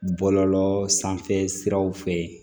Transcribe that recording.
Bɔlɔlɔ sanfɛ siraw fɛ